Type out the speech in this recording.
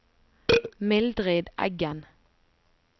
Mildrid Eggen